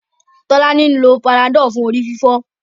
Tolani ń ló Panadol fún orí-fífọ́.